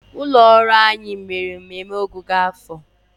ụlọ ọrụ anyi mere mmemme ọgwụgwụ nke afọ na ogige.